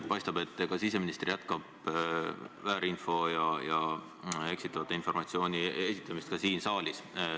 Paistab, et siseminister jätkab väärinfo ja eksitava informatsiooni esitamist ka siin saalis.